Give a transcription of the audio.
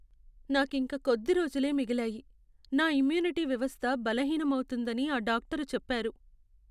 నాకింక కొద్ది రోజులే మిగిలాయి. నా ఇమ్యూనిటీ వ్యవస్థ బలహీనం అవుతోందని ఆ డాక్టరు చెప్పారు.